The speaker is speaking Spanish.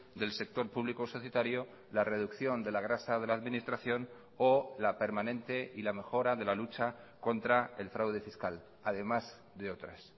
del sector público societario la reducción de la grasa de la administración o la permanente y la mejora de la lucha contra el fraude fiscal además de otras